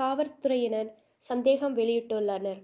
காவற்துறையினர் சந்தேகம் வௌியிட்டுள்ளனர்